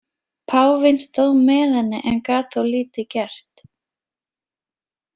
Páfinn stóð með henni en gat þó lítið gert.